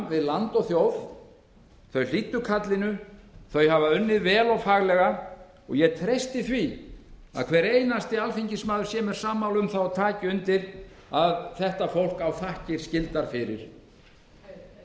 við land og þjóð þau hlýddu kallinu þau hafa unnið vel og faglega og ég treysti því að hver einasti alþingismaður sé mér sammála um það og taki undir að þetta fólk á þakkir skildar fyrir heyr